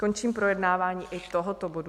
Končím projednávání i tohoto bodu.